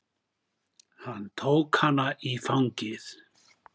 Hann tók hana í fangið.